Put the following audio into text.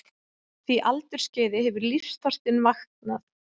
því aldursskeiði hefur lífsþorstinn vaknað.